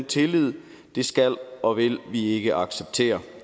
tilliden og det skal og vil vi ikke acceptere